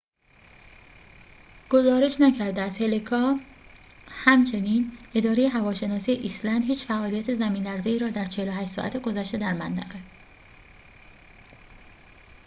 همچنین اداره هواشناسی ایسلند هیچ فعالیت زمین‌لرزه‌ای را در ۴۸ ساعت گذشته در منطقه hekla گزارش نکرده است